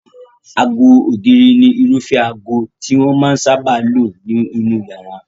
Aago ògiri ni irúfẹ́ aago tí wọ́n máa sáábà lò sí inú iyàrá.